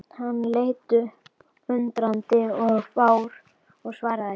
Hann leit upp undrandi og fár og svaraði ekki.